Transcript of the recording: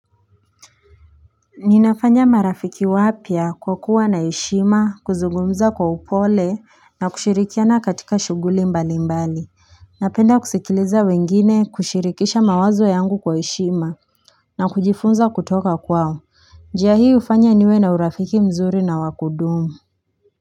Ninafanya marafiki wapya kwa kuwa na yeshima kuzugumza kwa upole na kushirikiana katika shuguli mbali mbali Napenda kusikiliza wengine kushirikisha mawazo yangu kwa heshima na kujifunza kutoka kwao njia hii hufanya niwe na urafiki mzuri na wa kudumu.